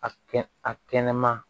A kɛn a kɛnɛma